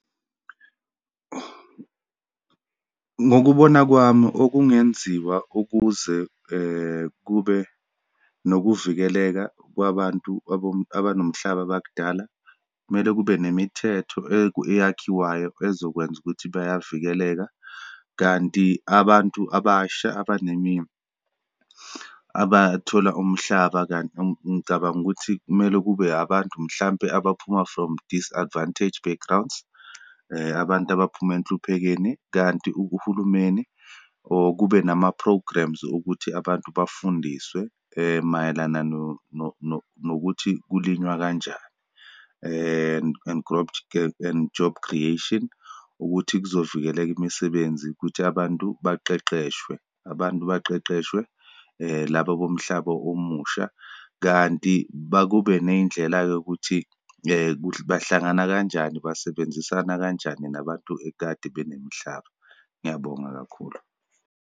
Ngokubona kwami, okungenziwa ukuze kube nokuvikeleka kwabantu abanomhlaba bakudala, kumele kube nemithetho eyakhiwayo ezokwenza ukuthi bayavikeleka. Kanti abantu abasha abathola umhlaba, kanti ngicabanga ukuthi kumele kube abantu, mhlampe abaphuma from disadvantaged backgrounds, abantu futhi abaphuma enhluphekeni. Kanti uhulumeni or kube nama-programmes okuthi abantu bafundiswe mayelana nokuthi kulinywa kanjani and job creation ukuthi kuzovikeleka imisebenzi kuthi abantu baqeqeshwe, abantu baqeqeshwe laba bomhlaba omusha. Kanti bakube neyindlela-ke yokuthi bahlangana kanjani, basebenzisana kanjani nabantu ekade banemihlaba. Ngiyabonga kakhulu.